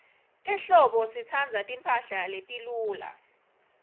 ehlobo sitsandza timphahla letiluca